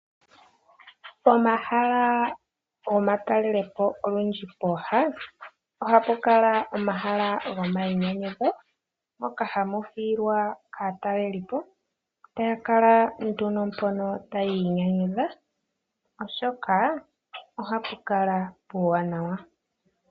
Omahala gomatalelo po olundji pooha, ohapu kala omahala gomainyanyudho moka hamu hiilwa kaatalelipo , taya kala nduno mpono tayi inyanyudha, oshoka ohapu kala puuwaanawa.